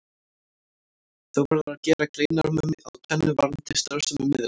Þó verður að gera greinarmun á tvennu varðandi starfsemi miðla.